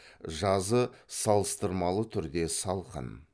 жазы салыстырмалы түрде салқын